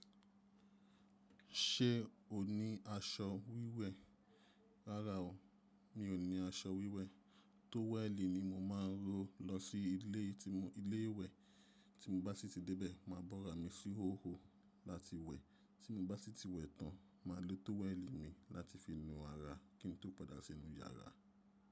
Ṣé o ní aṣọ wíwẹ̀? Rárá o, mi ò ní aṣọ wíwẹ̀. Tówẹ̀lì ni mo máa ń ró lọ sí ilé tí mo ilé wẹ̀. Tí mo bá sì ti dé bẹ̀, màá bọ́ra mi sí hóhò láti wẹ̀. Tí mo bá sì ti wẹ̀ tán, màá lo tówẹ̀lì mi láti fi nu ara kí n tó padà sí inú yàrá.